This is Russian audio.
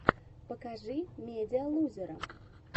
покажи медиалузера